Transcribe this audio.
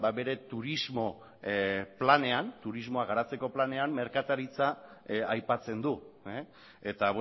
bere turismoa garatzeko planean merkataritza aipatzen du eta